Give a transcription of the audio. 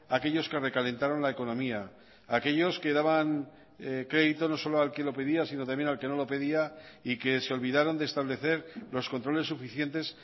aquellos que recalentaron la economía aquellos que daban crédito no solo al que lo pedía sino también al que no lo pedía y que se olvidaron de establecer los controles suficientes